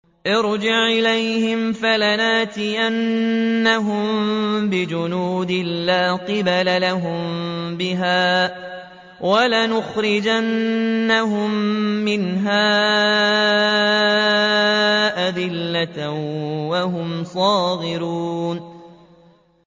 ارْجِعْ إِلَيْهِمْ فَلَنَأْتِيَنَّهُم بِجُنُودٍ لَّا قِبَلَ لَهُم بِهَا وَلَنُخْرِجَنَّهُم مِّنْهَا أَذِلَّةً وَهُمْ صَاغِرُونَ